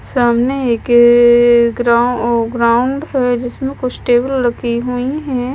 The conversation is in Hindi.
सामने एक ग्राउं ग्राउंड है जिसमें कुछ टेबल रखी हुई है।